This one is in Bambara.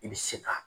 I bɛ se ka